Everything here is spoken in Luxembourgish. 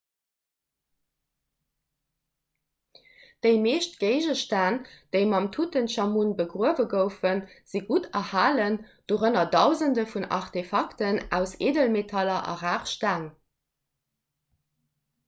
déi meescht géigestänn déi mam tutenchamun begruewe goufen si gutt erhalen dorënner dausende vun aartefakten aus eedelmetaller a rar steng